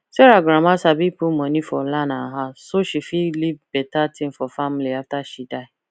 sarah grandma sabi put money for land and house so she fit leave better thing for family after she die